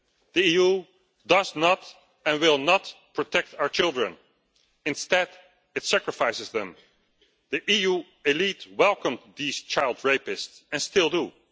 there. The EU does not and will not protect our children instead it sacrifices them. The EU elite welcomes these child rapists and still